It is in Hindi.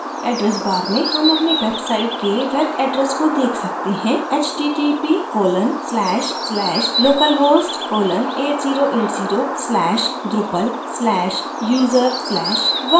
address bar में हम अपनी website के web address को देख सकते हैं